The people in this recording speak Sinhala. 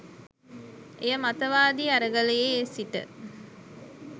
එය මතවාදි අරගලයේ සිට